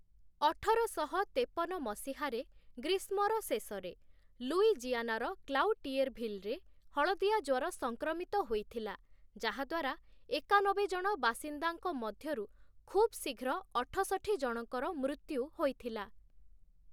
ଅଠରଶହ ତେପନ ମସିହାରେ ଗ୍ରୀଷ୍ମର ଶେଷରେ, ଲୁଇଜିଆନାର କ୍ଲାଉଟିଏର୍ଭିଲ୍‌ରେ ହଳଦିଆ ଜ୍ୱର ସଂକ୍ରମିତ ହୋଇଥିଲା, ଯାହାଦ୍ଵାରା ଏକାନବେ ଜଣ ବାସିନ୍ଦାଙ୍କ ମଧ୍ୟରୁ ଖୁବଶୀଘ୍ର ଅଠଷଠି ଜଣଙ୍କର ମୃତ୍ୟୁ ହୋଇଥିଲା ।